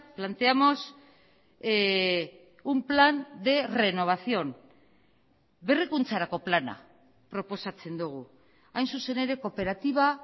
planteamos un plan de renovación berrikuntzarako plana proposatzen dugu hain zuzen ere kooperatiba